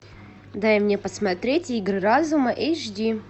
дай мне посмотреть игры разума эйч ди